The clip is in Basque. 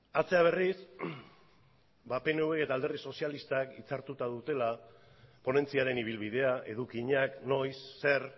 atzera berriz ba pnvk eta alderdi sozialistak itzartuta dutela ponentziaren ibilbidea edukiak noiz zer